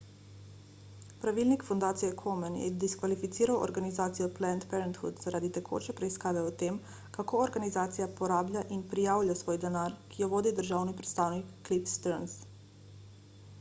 pravilnik fundacije komen je diskvalificiral organizacijo planned parenthood zaradi tekoče preiskave o tem kako organizacija porablja in prijavlja svoj denar ki jo vodi državni predstavnik cliff stearns